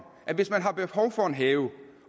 at hvis man har behov for en have